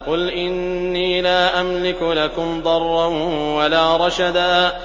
قُلْ إِنِّي لَا أَمْلِكُ لَكُمْ ضَرًّا وَلَا رَشَدًا